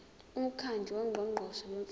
umkhandlu wongqongqoshe bemfundo